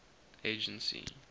agency